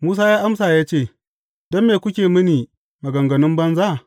Musa ya amsa ya ce, Don me kuke mini maganganun banza?